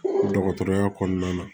Dɔgɔtɔrɔya kɔnɔna na